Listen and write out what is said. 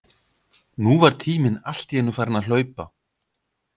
Nú var tíminn allt í einu farinn að hlaupa.